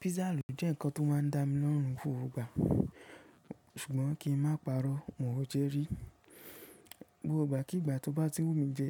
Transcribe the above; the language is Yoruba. Pizza lo jẹ́ ǹkan tó máa ń dá mi lọ́rùn gbogbo ìgbà, ṣùgbọ́n kí n má parọ́ mo un ò jẹ rí. Gbogbo ìgbà kí ìgbà tó bá ti wù mí jẹ,